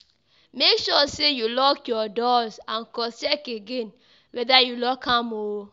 Make sure say you lock your doors and cross-check again whether you lock am um